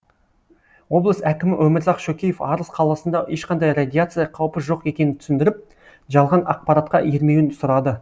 облыс әкімі өмірзақ шөкеев арыс қаласында ешқандай радиация қаупі жоқ екенін түсіндіріп жалған ақпаратқа ермеуін сұрады